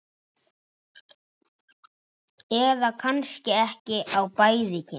Eða kannski á bæði kynin?